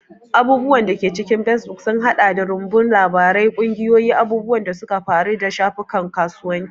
Abubuwan da ke cikin facebook sun haɗa da rumbun labarai, ƙungiyoyi, abubuwan da suka faru, da shafukan kasuwanci.